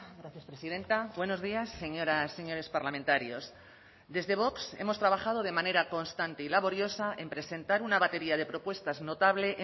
gracias presidenta buenos días señoras señores parlamentarios desde vox hemos trabajado de manera constante y laboriosa en presentar una batería de propuestas notable